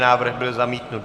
Návrh byl zamítnut.